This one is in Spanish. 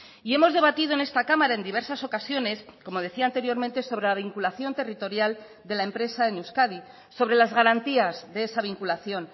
y hemos debatido en esta cámara en diversas ocasiones como decía anteriormente sobre la vinculación territorial de la empresa en euskadi sobre las garantías de esa vinculación